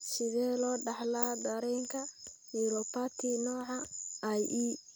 Sidee loo dhaxlaa dareenka neuropathy nooca IE?